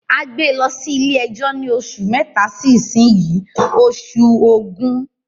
A gbé e lọ sí ilé ẹjọ́ ni oṣù mẹ́ta sí ísin yìí ( oṣù ògún)